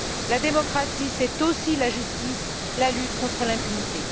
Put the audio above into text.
La démocratie, c'est aussi la justice, la lutte contre l'impunité.